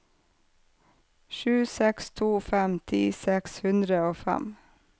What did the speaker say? sju seks to fem ti seks hundre og fem